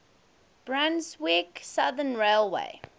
brunswick southern railway